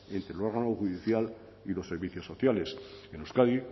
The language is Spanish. entre el órgano judicial y los servicios sociales en euskadi